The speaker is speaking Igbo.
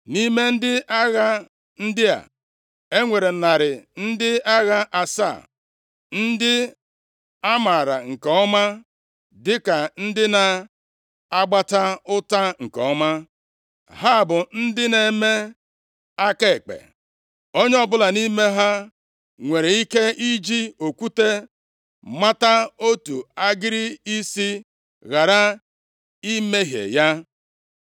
Nʼime ndị agha ndị a, e nwere narị ndị agha asaa, ndị a maara nke ọma dịka ndị na-agbata ụta nke ọma. + 20:16 \+xt Nkp 3:16; 1Ih 12:2\+xt* Ha bụ ndị na-eme aka ekpe, onye ọbụla nʼime ha nwere ike iji okwute mata otu agịrị isi, ghara ịmahie ya.